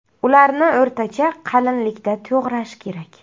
Ularni o‘rtacha qalinlikda to‘g‘rash kerak.